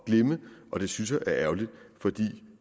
glemme og det synes jeg er ærgerligt fordi